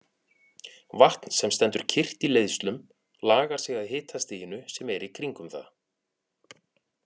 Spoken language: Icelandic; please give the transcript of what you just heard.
Vatn sem stendur kyrrt í leiðslum lagar sig að hitastiginu sem er í kringum það.